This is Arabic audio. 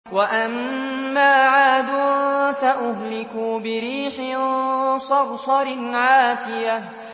وَأَمَّا عَادٌ فَأُهْلِكُوا بِرِيحٍ صَرْصَرٍ عَاتِيَةٍ